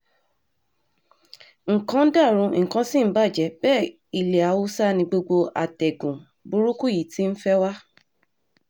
nǹkan ń dàrú nǹkan ṣì ń bàjẹ́ bẹ́ẹ̀ ilẹ̀ haúsá ni gbogbo àtẹ̀gùn burúkú yìí ti ń fẹ́ wá